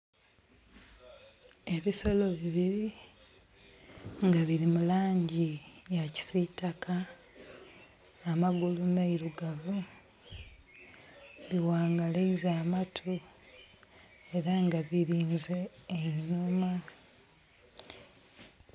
Ebisolo bibiri nga biri mu langi eya kisitaka amagulu meirugavu bi ghangaleiza amatu era nga birinze einhuma.